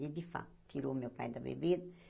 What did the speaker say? E, de fato, tirou o meu pai da bebida.